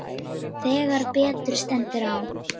Þegar betur stendur á